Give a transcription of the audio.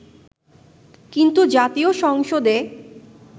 কিন্তু জাতীয় সংসদে